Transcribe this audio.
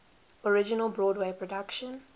original broadway production